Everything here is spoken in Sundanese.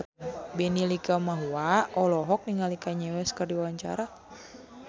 Benny Likumahua olohok ningali Kanye West keur diwawancara